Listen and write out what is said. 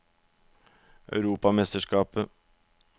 europamesterskapet